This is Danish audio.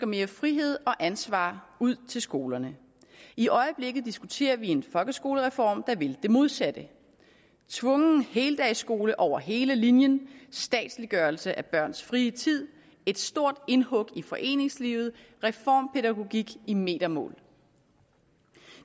mere frihed og ansvar ud til skolerne i øjeblikket diskuterer vi en folkeskolereform der vil det modsatte tvungen heldagsskole over hele linjen statsliggørelse af børns frie tid et stort indhug i foreningslivet reformpædagogik i metermål